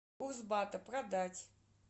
курс бата продать